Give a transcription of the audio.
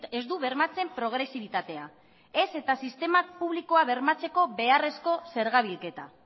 ez du bermatzen progresibitatea ez eta sistema publikoa bermatzeko beharrezko zerga bilketa